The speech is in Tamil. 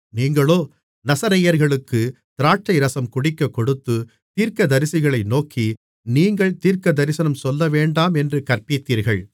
நீங்களோ நசரேயர்களுக்குத் திராட்சைரசம் குடிக்கக் கொடுத்து தீர்க்கதரிசிகளை நோக்கி நீங்கள் தீர்க்கதரிசனம் சொல்லவேண்டாம் என்று கற்பித்தீர்கள்